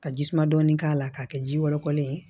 Ka ji suma dɔɔni k'a la k'a kɛ ji wɔlɔkɔlen ye